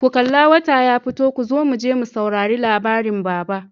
ku kalla! wata ya fito kozo muje mu saurari labarin baba.